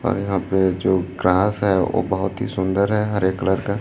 और यहां पे जो ग्रास है वो बहुत ही सुंदर है हरे कलर का।